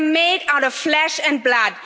We are made out of flesh and blood.